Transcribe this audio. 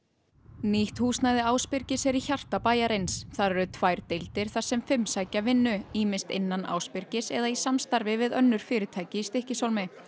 nýtt húsnæði Ásbyrgis er í hjarta bæjarins þar eru tvær deildir þar sem fimm sækja vinnu ýmist innan Ásbyrgis eða í samstarfi við önnur fyrirtæki í Stykkishólmi